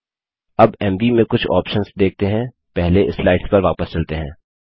अब एमवी में कुछ ऑप्शन्स देखते हैं पहले स्लाइड्स पर वापस चलते हैं